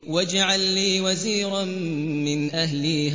وَاجْعَل لِّي وَزِيرًا مِّنْ أَهْلِي